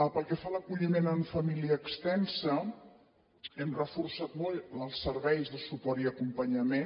pel que fa a l’acolliment en família extensa hem reforçat molt els serveis de suport i acompanyament